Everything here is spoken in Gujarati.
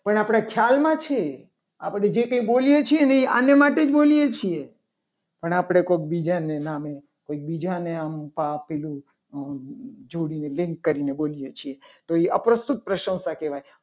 પણ આપણા ખ્યાલમાં છે. આપણું કઈ જે બોલીએ છીએ. ને એ એના માટે બોલીએ છીએ. પણ આપણે કોઈ બીજાના નામે કોઈ બીજાને અહંકાર આપેલું જોડેલી link કરીને બોલીએ છીએ. તો એ અપ્રસ્તુત પ્રશંસા કહેવાય.